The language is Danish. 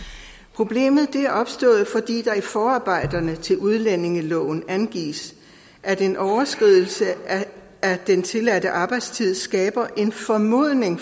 problemet er opstået fordi der i forarbejderne til udlændingeloven angives at en overskridelse af den tilladte arbejdstid skaber en formodning